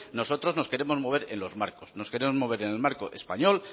nosotros nos queremos mover en los marcos nos queremos en el marco español